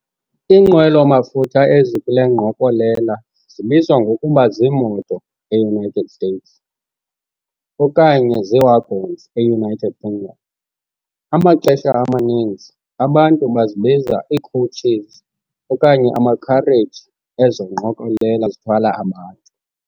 Iinqwelo mafutha ezikule ngqokolela zibizwa ngokuba zii-moto, e-United States, okanye zii-"wagons", e-United Kingdom. Amaxesha amaninzi, abantu bazibiza ii-Coaches okanye amakhareji ezo ngqokolela zithwala abantu.